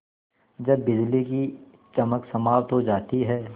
जब बिजली की चमक समाप्त हो जाती है